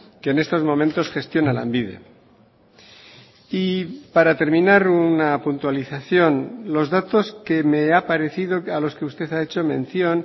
que en estos momentos gestiona lanbide y para terminar una puntualización los datos que me ha parecido a los que usted ha hecho mención